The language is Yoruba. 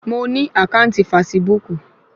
Mo ní àkáǹtì fasibúùkù